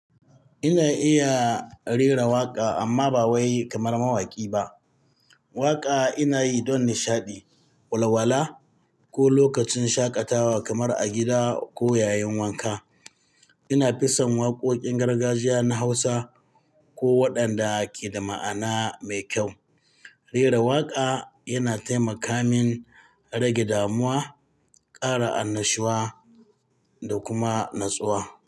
Ina iya rera waƙa amma ba wai kamar mawaƙi ba. Waƙa ina yi don nishaɗi, walwala ko lokacin shaƙatawa kamar a gida ko yayin wanka. Ina fi son waƙoƙin gargajiya na Hausa ko waɗanda ke da ma'ana mai kyau. Rera waƙa yana taimaka min rage damuwa, ƙara annashuwa da kuma natsuwa.